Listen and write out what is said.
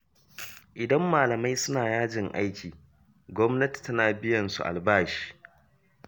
Idan malamai suna yajin aiki, gwamnati tana biyan su albashinsu.